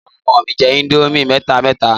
Mi ò ní jẹ́ kí àwọn ọmọ mi jẹ íńdómì mẹ́ta mẹ́ta.